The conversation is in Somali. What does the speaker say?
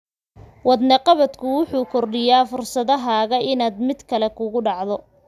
Wadne qabadku wuxuu kordhiyaa fursadahaaga inaad mid kale kugu dhacdo.